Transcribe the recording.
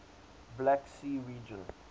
black sea region